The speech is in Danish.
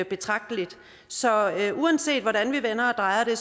betragteligt så uanset hvordan vi vender og drejer det